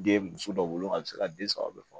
Den muso dɔw wolo a be se ka den saba bɛɛ faga